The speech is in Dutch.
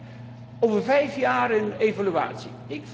Ten tweede over vijf jaar een evaluatie.